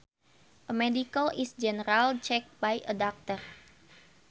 A medical is a general check by a doctor